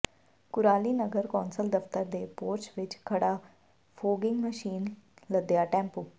ਕੁਰਾਲੀ ਨਗਰ ਕੌਂਸਲ ਦਫਤਰ ਦੇ ਪੋਰਚ ਵਿਚ ਖੜ੍ਹਾ ਫੋਗਿੰਗ ਮਸ਼ੀਨ ਲੱਦਿਆ ਟੈਂਪੂ